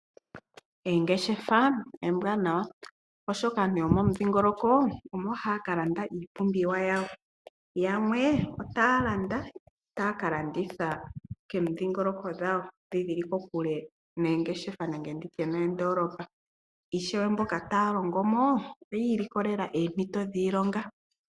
Oongeshefa ombwanawa oshoka aantu yomo mudhingoloko omo haya ka landa iipumbiwa yawo. Yamwe otaya landa taya ka landitha komidhingoloko dhawo dho dhili kokule noongeshefa nenge nditye noondolopa ishewe mbono taya longo mo oyi ili kolela oompito dhiilonga.